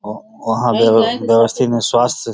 आ वंहा गेरोसिन न स्वस्त --